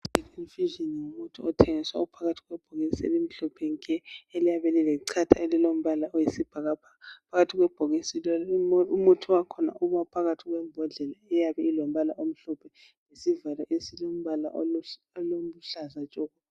IFusion ngumuthi othengiswa uphakathi kwebhokisi elimhlophe nke! Eliyabe lilechatha ielilombala oyisibhakabhaka. Phakathi kwebhokisi le....Umuthi wakhona uba uphakathi kwebhodlela, eyabe ulombala omhlophe. Lesivalo esiyabe silombala oluhlaza tshoko!